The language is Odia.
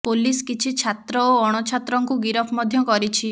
ପୋଲିସ କିଛି ଛାତ୍ର ଓ ଅଣଛାତ୍ରଙ୍କୁ ଗିରଫ ମଧ୍ୟ କରିଛି